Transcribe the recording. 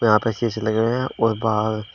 यहां पे शीशे लगे हुए हैं और बाहर--